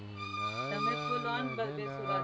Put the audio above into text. આ તમ બેસૂરા છે.